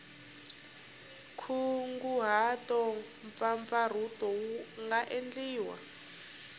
nkunguhato mpfapfarhuto wu nga endliwa